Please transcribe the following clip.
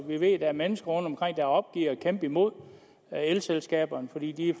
vi ved at der er mennesker rundtomkring der opgiver at kæmpe imod elselskaberne fordi de